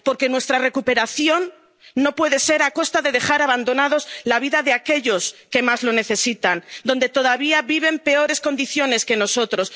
Porque nuestra recuperación no puede ser a costa de dejar abandonados a aquellos que más lo necesitan y todavía viven en peores condiciones que nosotros.